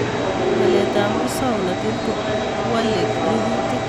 Walet ab musongnotet kowalei rurutik